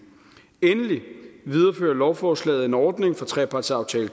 endelig viderefører lovforslaget en ordning fra trepartsaftale